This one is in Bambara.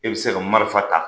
E bi se ka marifa ta.